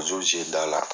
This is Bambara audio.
da la